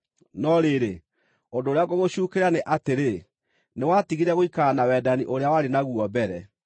No rĩrĩ, ũndũ ũrĩa ngũgũcuukĩra nĩ atĩrĩ: Nĩwatigire gũikara na wendani ũrĩa warĩ naguo mbere.